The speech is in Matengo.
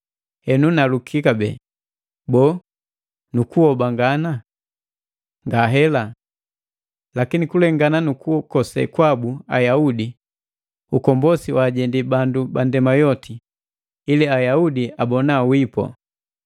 Henu naluki kabee, boo, Ayaudi lee alikobandwi ili ahabuka nukuhoba ngane? Ngahela! Lakini kulengana nukukose kwabu Ayaudi, ukombosi waajendi bandu bandema yoti, ili Ayaudi abona wipu.